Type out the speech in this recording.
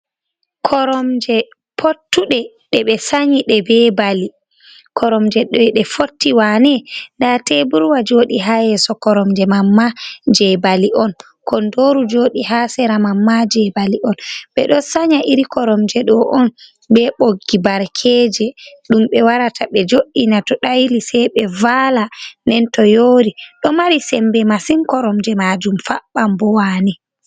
Koromje pottuɗe ɗebe sanyiɗe be bali. koromjeɗ ɗe fotti wane. Ɗa teburwa joɗi ha yeso koromje manma jebali on. Konɗoru joɗi ha sera mam ma je bali on. be ɗon sanya iri koromje ɗo on be boggi barkeje. Ɗumbe warata be joɗina to daili sei be vala ɗen to yori ɗo mari sembe masin koromje majum fabban bo wane.